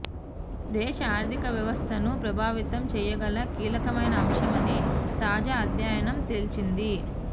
దేశ ఆర్థిక వ్యవస్థను ప్రభావితం చేయగల కీలకమైన అంశమని తాజా అధ్యయనం తేల్చింది